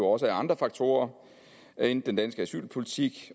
også af andre faktorer end den danske asylpolitik